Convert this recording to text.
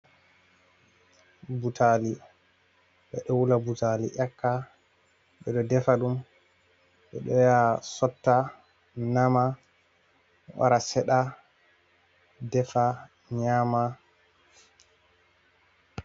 Butali ɓe ɗo uula butali yaka, ɓeɗo defa ɗum, ɓe ɗo ya sotta, nama, wara seɗa, defa nyama.